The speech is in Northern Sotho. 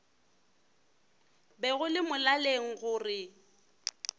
be go le molaleng gore